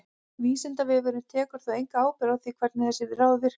Vísindavefurinn tekur þó enga ábyrgð á því hvernig þessi ráð virka.